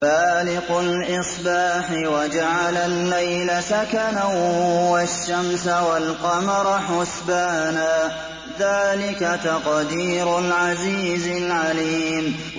فَالِقُ الْإِصْبَاحِ وَجَعَلَ اللَّيْلَ سَكَنًا وَالشَّمْسَ وَالْقَمَرَ حُسْبَانًا ۚ ذَٰلِكَ تَقْدِيرُ الْعَزِيزِ الْعَلِيمِ